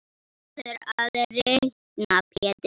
Þú verður að reikna Pétur.